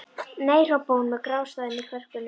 Nei hrópaði hún með grátstafinn í kverkunum.